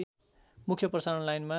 मुख्य प्रसारण लाइनमा